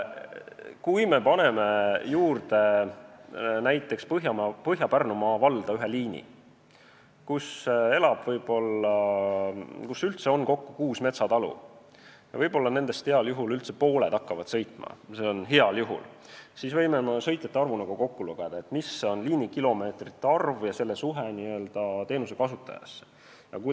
Kui me paneme Põhja-Pärnumaa valda juurde ühe liini sinna, kus on üldse kokku ehk kuus metsatalu ja võib-olla nendest heal juhul pooled hakkaksid bussiga sõitma, siis me võime sõitjate arvu kokku lugeda ning võrrelda liinikilomeetreid teenuse kasutajate arvuga.